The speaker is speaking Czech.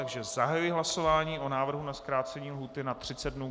Takže zahajuji hlasování o návrhu na zkrácení lhůty na 30 dnů.